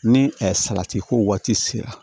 Ni salati ko waati sera